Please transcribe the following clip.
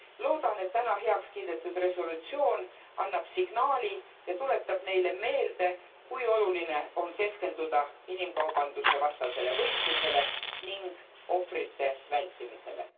Loodan, et täna heaks kiidetud resolutsioon annab signaali ja tuletab neile meelde, kui oluline on keskenduda inimkaubanduse vastasele võitlusele ning ohvrite vältimisele.